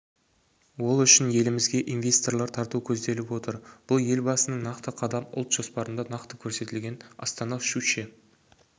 ол үшін елімізге инвесторлар тарту көзделіп отыр бұл елбасының нақты қадам ұлт жоспарында нақты көрсетілген астана-щучье